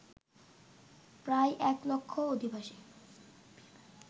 প্রায় এক লক্ষ অভিবাসী